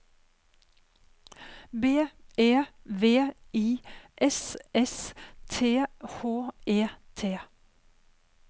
B E V I S S T H E T